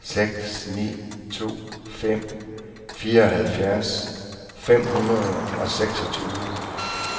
seks ni to fem fireoghalvtreds fem hundrede og seksogtyve